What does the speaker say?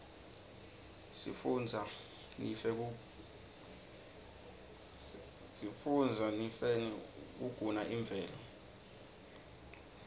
sifunbza nifnqe kuguna imvelo